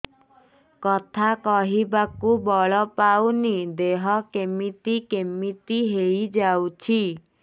କଥା କହିବାକୁ ବଳ ପାଉନି ଦେହ କେମିତି କେମିତି ହେଇଯାଉଛି